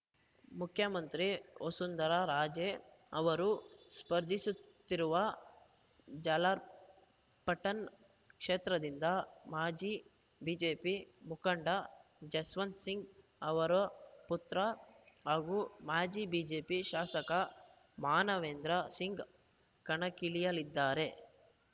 ಮುಖ್ಯಮಂತ್ರಿ ವಸುಂಧರಾ ರಾಜೇ ಅವರು ಸ್ಪರ್ಧಿಸುತ್ತಿರುವ ಝಾಲಾರ್‌ಪಟನ್‌ ಕ್ಷೇತ್ರದಿಂದ ಮಾಜಿ ಬಿಜೆಪಿ ಮುಖಂಡ ಜಸ್ವಂತ್‌ ಸಿಂಗ್‌ ಅವರ ಪುತ್ರ ಹಾಗೂ ಮಾಜಿ ಬಿಜೆಪಿ ಶಾಸಕ ಮಾನವೇಂದ್ರ ಸಿಂಗ್‌ ಕಣಕ್ಕಿಳಿಯಲಿದ್ದಾರೆ